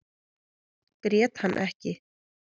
Grét hann ekki.